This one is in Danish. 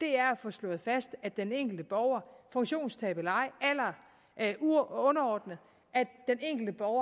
er at få slået fast at den enkelte borger funktionstab eller ej alder underordnet